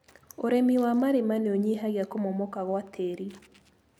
ũrĩmi wa marima nĩũnyihagia kũmomoka gwa tĩri.